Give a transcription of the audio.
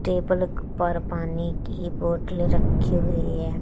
Table पर पानी की बोतले रखी हुई है।